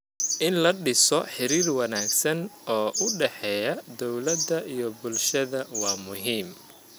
In la dhiso xiriir wanaagsan oo u dhexeeya dowladda iyo bulshada waa muhiim.